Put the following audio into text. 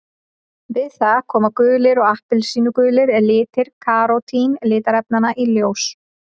Við það koma gulir og appelsínugulir litir karótín litarefnanna í ljós.